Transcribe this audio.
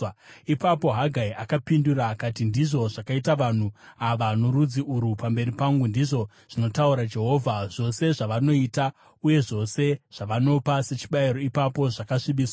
Ipapo Hagai akapindura akati, “ ‘Ndizvo zvakaita vanhu ava norudzi urwu pamberi pangu,’ ndizvo zvinotaura Jehovha. ‘Zvose zvavanoita uye zvose zvavanopa sechibayiro ipapo zvakasvibiswa.